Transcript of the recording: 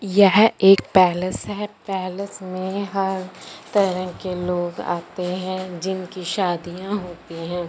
यह एक पैलेस है पैलेस में हर तरह के लोग आते हैं जिनकी शादियां होती हैं।